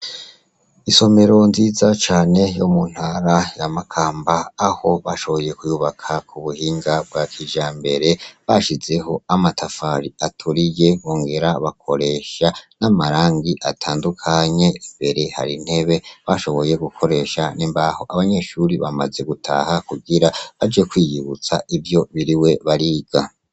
Isomero nziza cane yo mu ntara ya Makamba aho bashoboye kuyubaka kubuhinga bwakijambere bashizeh' amatafar'aturiye, bongera bakoresha n' amarang' atandukanye, imbere har' intebe bashoboye gukoresh' imbaho, abanyeshure bamaze gutaha kugira baje kwiyibuts' ivyo biriwe bariga